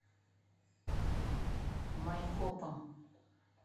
майкопом